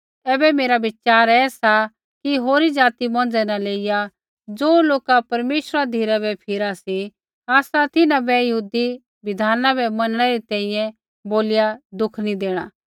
ऐबै मेरा विचार ऐसा कि होरी ज़ाति मौंझ़ै न लेइया ज़ो लोका परमेश्वरा धिरै बै फिरा सी आसा तिन्हां बै यहूदी बिधाना बै मनणै री तैंईंयैं बोलिया दुख नी देणा